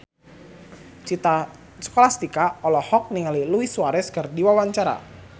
Citra Scholastika olohok ningali Luis Suarez keur diwawancara